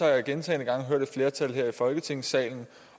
jeg gentagne gange hørt et flertal her i folketingssalen